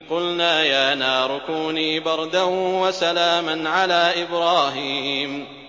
قُلْنَا يَا نَارُ كُونِي بَرْدًا وَسَلَامًا عَلَىٰ إِبْرَاهِيمَ